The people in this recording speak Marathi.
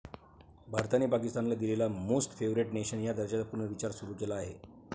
भारताने पाकिस्तानला दिलेला मोस्ट फेवरेट नेशन या दर्जाचा पुनर्विचार सुरू केला आहे.